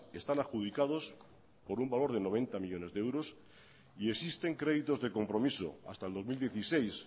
están adjudicados por un valor de noventa millónes de euros y existen créditos de compromiso hasta el dos mil dieciséis